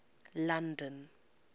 london